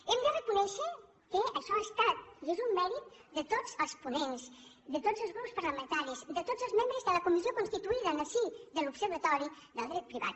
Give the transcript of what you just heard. hem de reconèixer que això ha estat i és un mèrit de tots els ponents de tots els grups parlamentaris de tots els membres de la comissió constituïda en el si de l’observatori del dret privat